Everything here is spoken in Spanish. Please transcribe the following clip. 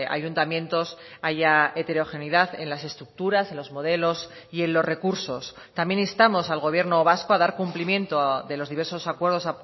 ayuntamientos haya heterogeneidad en las estructuras en los modelos y en los recursos también instamos al gobierno vasco a dar cumplimiento de los diversos acuerdos